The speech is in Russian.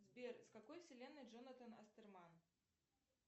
сбер с какой вселенной джонатан астерман